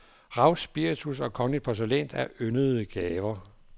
Rav, spiritus og kongeligt porcelæn er yndede gaver.